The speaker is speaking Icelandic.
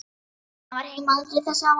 Lena var heima aldrei þessu vant.